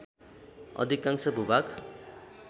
अधिकांश भूभाग